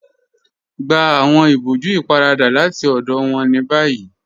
Gbà awọn ìbọ̀jú ípáràdà láti ọdọ wọn ni bayí